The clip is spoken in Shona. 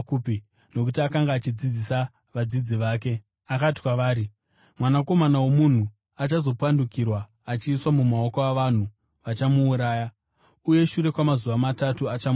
nokuti akanga achidzidzisa vadzidzi vake. Akati kwavari, “Mwanakomana woMunhu achazopandukirwa achiiswa mumaoko avanhu. Vachamuuraya, uye shure kwamazuva matatu achamuka.”